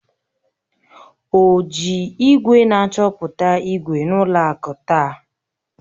O ji igwe na-achọpụta ígwè na ụlọ akụ taa?